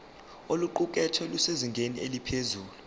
oluqukethwe lusezingeni eliphezulu